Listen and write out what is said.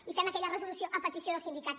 i fem aquella resolució a petició dels sindicats